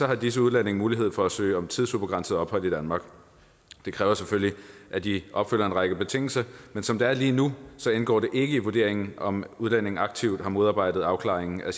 har disse udlændinge mulighed for at søge om tidsubegrænset ophold i danmark det kræver selvfølgelig at de opfylder en række betingelser men som det er lige nu indgår det ikke i vurderingen om udlændinge aktivt har modarbejdet afklaringen af